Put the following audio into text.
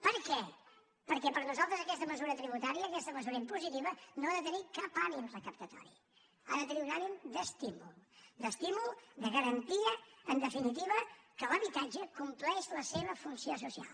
per què perquè per nosaltres aquesta mesura tributària aquesta mesura impositiva no ha de tenir cap ànim recaptatori ha de tenir un ànim d’estímul d’estímul de garantia en definitiva que l’habitatge compleix la seva funció social